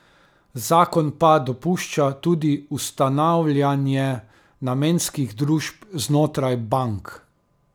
Zakon pa dopušča tudi ustanavljanje namenskih družb znotraj bank.